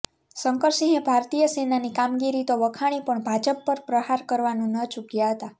શંકરસિંહે ભારતીય સેનાની કામગીરી તો વખાણી પણ ભાજપ પર પ્રહાર કરવાનું ન ચૂક્યાં હતા